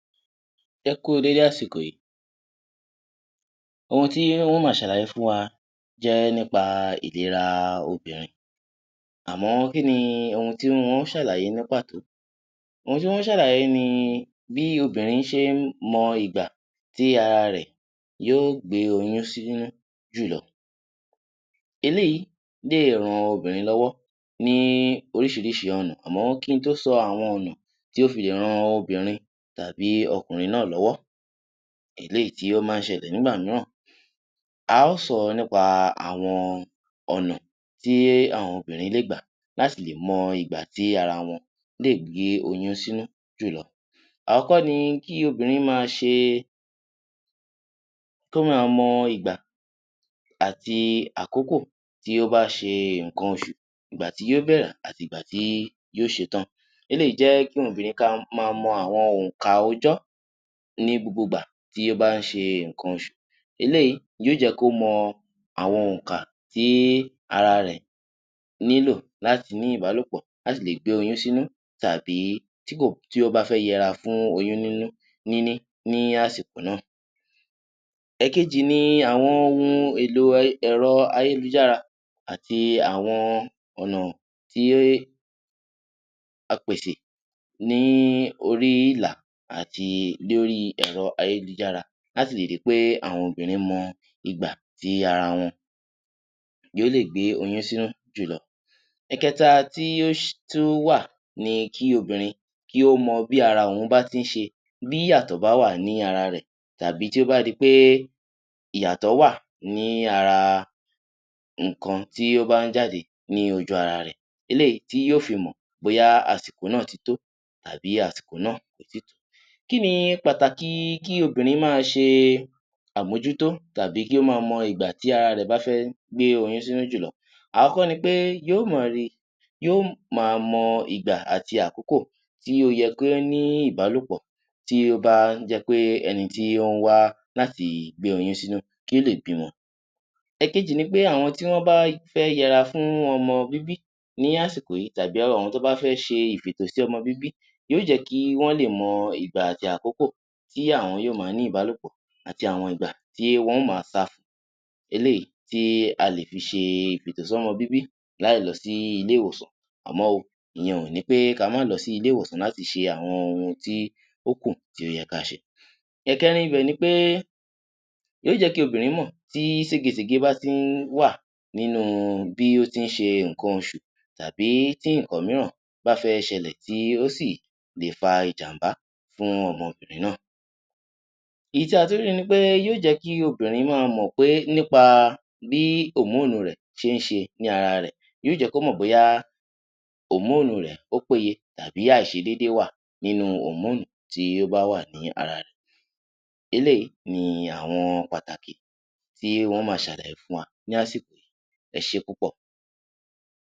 Ẹ kú u dédé àsìkò yìí. Ohun tí ń ó máa ṣàlàyé fún wa jẹ́ nípa ìlera obìnrin. Àmọ kí ni ohun tí n ó ṣàlàyé ní pàtó? Ohun tí n ó ṣàlàyé ni bí obìnrin ṣe ń mọ ìgbà tí ara rẹ yóó gbé oyún sínú jùlọ. Eléyìí lè ran obìnrin lọ́wọ́ ní oríṣìíríṣìí ọ̀nà. Àmọ́ kí n tó sọ àwọn ọ̀nà tí ó fi lè ran obìnrin tàbí ọkùnrin náà lọ́wọ́, eléyìí tí ó máa ń ṣẹlẹ̀ nígbà mìíràn, a ọ́ sọ nípa àwọn ọ̀nà tí àwọn obìnrin lè gbà láti lè mọ ìgbà tí ara wọn lè gbé oyún sínú jùlọ. Àkọ́kọ́ ni kí obìnrin máa ṣe, kó máa mọ ìgbà àti àkókò tí ó bá ṣe nǹkan oṣù. Ìgbà tí yóó bẹ̀rẹ̀ àti ìgbà tí yóó ṣetán. Eléyìí jẹ́ fún obìnrin kí a máa mọ àwọn òǹkà ọjọ́ ní gbogbo ìgbà tí ó bá ń ṣe nǹkan oṣù. Eléyìí yóò jẹ́ kó mọ àwọn òǹkà tí ara rẹ̀ nílò láti ní ìbálòpọ̀ láti lè gbé oyún sínú tàbí dípò tí ó bá fẹ́ yẹra fún oyún nínú níní ní àsìkò náà. Ẹ̀kejì ni àwọn ohun èlò ẹ̀rọ-ayélujára àti àwọn ọ̀nà tí a pèsè ní orí ìlà àti lórí ẹ̀rọ-ayélujára láti lè ri pé àwọn obìnrin mọ ìgbà tí ara wọn yóó lè gbé oyún sínú jùlọ. Ẹ̀kẹta tí ó tún wà ni kí obìnrin kí ó mọ bí ara ohun bá ti ń ṣe, bí ìyàtọ̀ bá wà ní ara rẹ̀ tàbí tí ó bá di pé ìyàtọ̀ wà ní ara nǹkan tí ó bá ń jáde ní ojú-ara rẹ̀, eléyìí tí yóó fi mọ̀ bóyá àsìkò náà ti tó tàbí àsìkò náà kò tíì tó. Kí ni pàtàkì kí obìnrin máa ṣe àmójútó tàbí kí ó máa mọ ìgbà tí ara rẹ̀ bá fẹ́ gbé oyún sínú jùlọ? Àkọ́kọ́ ni pé yóò máa rí, yóò máa mọ ìgbà àti àkókò tí ó yẹ kí ó ní ìbálòpọ̀ tí ó bá ń jẹ́ pé ẹni tí ó ń wá láti gbé oyún sínú, kí ó lè bímọ. Èkejì ni pé àwọn tí wọ́n bá fẹ́ yẹra fún ọmọ bíbí ní àsìkò yìí tàbí àwọn tí wọ́n bá fẹ́ ṣe ìfètò sí ọmọ bíbí, yóò jẹ́ kí wọ́n lè mọ ìgbà àti àkókò tí àwọn yóó máa ní ìbálòpò àti àwọn ìgbà tí wọ́n ó máa sá fun. Eléyìí tí a lè fi ṣe ìfètò-sọ́mọ-bíbí láì lọ sí ilé-ìwòsàn. Àmọ́ o, ìyẹn ò ní pé ka má lọ sí ilé-ìwòsàn láti ṣe àwọn ohun tí ó kù tí ó yẹ ká ṣe. Ẹ̀kẹrin ibẹ̀ ni pé, yóò jẹ́ kí obìnrin mọ̀ tí sége-sège bá ti ń wà nínú bí ó ti ń ṣe nǹkan oṣù tàbí tí nǹkan mìíràn bá fẹ́ ṣẹlẹ̀ tí ó sì lè fa ìjàm̀bá fún ọmọ obìnrin náà. Èyí tí a tún rí ni pé yóò jẹ́ kí obìnrin máa mọ̀ pé nípa bí òmóònù rẹ̀ ṣe ń ṣe ní ara rẹ̀. Yóò jẹ́ kó mọ̀ bóyá òmóònù rẹ̀ ó péye tàbí àìṣedédé wà nínú òmóònù tí ó bá wà ní ara rẹ̀. Eléyìí ni àwọn pàtàkì tí n ó máa ṣàlàyé fún wa ní àsìkò yìí. Ẹ ṣé púpọ̀!